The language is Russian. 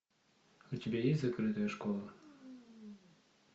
у тебя есть закрытая школа